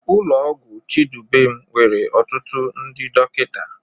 Ụlọ ọgwụ Chidubem nwere ọtụtụ ndị dọkịta.